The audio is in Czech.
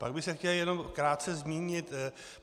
Pak bych se chtěl jenom krátce zmínit.